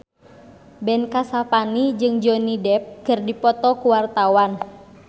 Ben Kasyafani jeung Johnny Depp keur dipoto ku wartawan